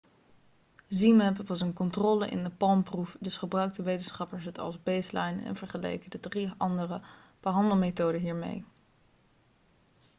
zmapp was een controle in de palm-proef dus gebruikten wetenschappers het als baseline en vergeleken de drie andere behandelmethoden hiermee